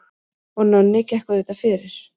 Og Nonni gekk auðvitað fyrir.